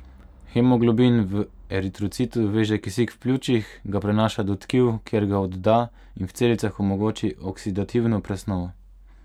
Hemoglobin v eritrocitu veže kisik v pljučih, ga prenaša do tkiv, kjer ga odda, in v celicah omogoči oksidativno presnovo.